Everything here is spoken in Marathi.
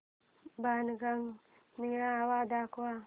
बाणगंगा मेळावा दाखव